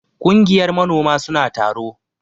Kungiyar manoma suna taro.